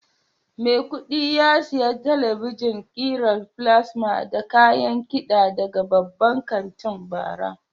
Maikudi ya siya talabijen kiran plasma da kayan kiɗa daga babban kantin bara.